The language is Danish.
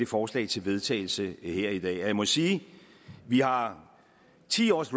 forslag til vedtagelse her i dag jeg må sige at vi har ti års